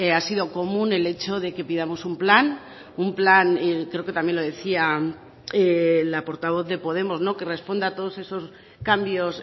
ha sido común el hecho de que pidamos un plan un plan creo que también lo decía la portavoz de podemos que responda a todos esos cambios